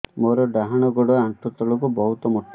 ମୋର ଡାହାଣ ଗୋଡ ଆଣ୍ଠୁ ତଳୁକୁ ବହୁତ ମୋଟା